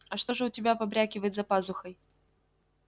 а что же у тебя побрякивает за пазухой